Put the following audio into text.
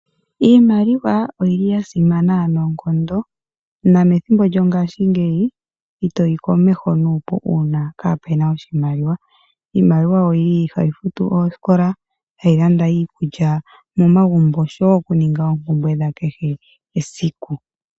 Iimaliwa oyili ya simana noonkondo, nomethimbo lyongaashingeyi, itoyi komeho nuupu uuna kaapena oshimaliwa. Iimaliwa oyili hayi futu oosikola, hayi landa iikulya momagumbo, oshowo oompumbwe dhakehe esiku.